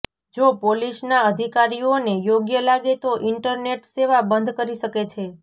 જો પોલીસના અધિકારીઓને યોગ્ય લાગે તો ઈન્ટરનેટ સેવા બંધ કરી શકે છે